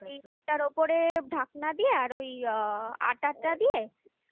আর ওপরে ঢাকনা দিয়ে আর ওই আটাটা দিয়ে